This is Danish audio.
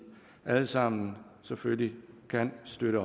alle sammen selvfølgelig kan støtte